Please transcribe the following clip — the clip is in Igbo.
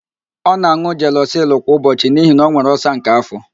Ọ na-an̄ụ jelọsịl kwa ụbọchị n'ihi na ọ nwere ọlsa nke afọ.